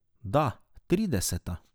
Da, trideseta.